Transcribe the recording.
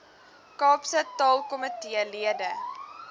kaapse taalkomitee lede